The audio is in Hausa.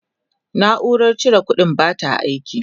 naurar cire ƙuɗin bata aiki